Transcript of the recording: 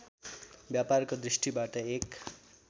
व्यापारको दृष्टिबाट एक